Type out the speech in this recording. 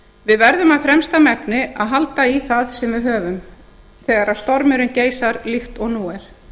við verðum af fremsta megni að halda í það sem við höfum þegar stormurinn geysar líkt og nú er